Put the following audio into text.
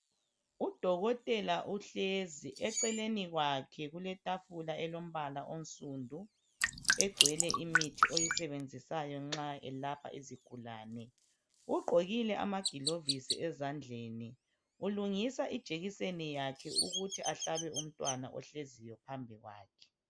Udokotela uhlezi eceleni kwakhe kuletafula elombala onsundu egcwele imithi oyisebenzisayo nxa eselapha izigulane ugqokile amagilovisi ezandleni ulungisa ijekiseni yakhe ukuthi ahlabe umntwana ohleziyo phambi kwakhe